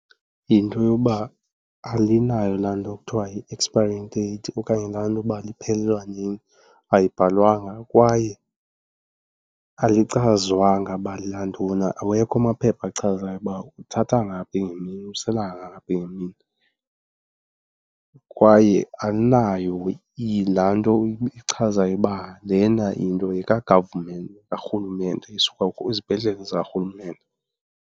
Yinto yoba alinayo laa nto kuthiwa yi-expiry date okanye laa nto uba liphelelwa nini, ayibhalwanga. Kwaye alichazwanga uba lelantoni, awekho amaphepha achazayo uba uthatha ngaphi ngemini usela kangaphi ngemini. Kwaye alinayo laa nto ichazayo uba lena into yeka-government, yekarhulumente isuka kwizibhedlele zikarhulumente.